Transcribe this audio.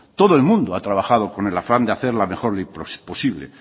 todo el mundo ha trabajado con el afán de hacerlo lo mejor posible